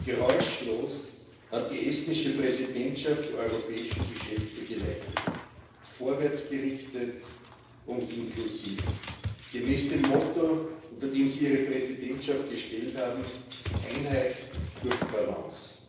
Geräuschlos hat die estnische Präsidentschaft die europäischen Geschäfte geleitet, vorwärtsgerichtet und inklusiv gemäß dem Motto, unter das sie ihre Präsidentschaft gestellt hat Einheit durch Balance.